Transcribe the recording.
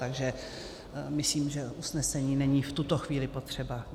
Takže myslím, že usnesení není v tuto chvíli potřeba.